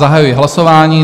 Zahajuji hlasování.